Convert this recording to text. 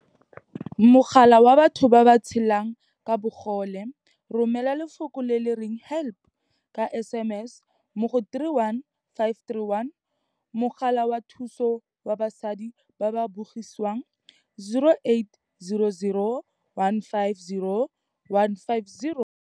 Mogala wa Batho ba ba Tshelang ka Bogole, Romela lefoko le le reng 'help' ka SMS mo go 31531. Mogala wa Thuso wa Basadi ba ba Bogisiwang, 0800 150 150.